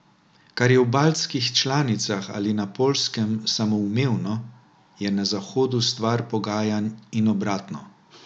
Kar je v baltskih članicah ali na Poljskem samoumevno, je na Zahodu stvar pogajanj in obratno.